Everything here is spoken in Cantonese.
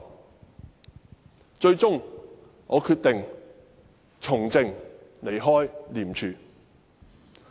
我最終決定從政，離開廉署。